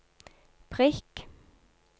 prikk